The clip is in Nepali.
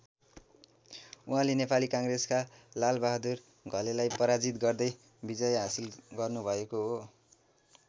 उहाँले नेपाली काङ्ग्रेसका लालबहादुर घलेलाई पराजित गर्दै विजय हाँसिल गर्नुभएको हो।